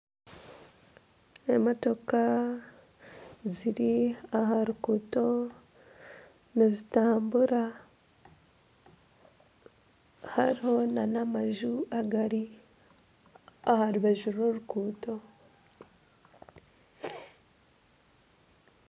Emotooka ziri aha ruguuto nizitambura hariho nana amanju agari aha rubaju rw'oruguuto.